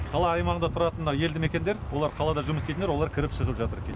қала аймағында тұратын мына елді мекендер олар қалада жұмыс істейтіндер олар кіріп шығып жатыр келіп